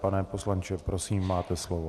Pane poslanče, prosím máte slovo.